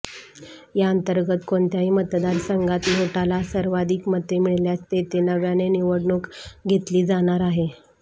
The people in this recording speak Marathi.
यांतर्गत कोणत्याही मतदारसंघात नोटाला सर्वाधिक मते मिळाल्यास तेथे नव्याने निवडणूक घेतली जाणार आहे